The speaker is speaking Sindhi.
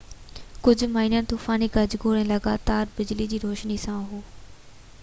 ڪجهه مينهن طوفاني گجگوڙ ۽ لڳاتار بجلي جي روشني سان هو